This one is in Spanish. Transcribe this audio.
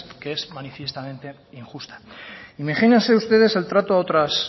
que es manifiestamente injusta imagínense ustedes el trato a otras